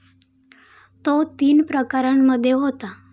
तो तीन प्रकारांमध्ये होतो.